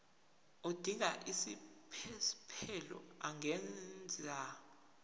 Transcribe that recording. odinga isiphesphelo angenza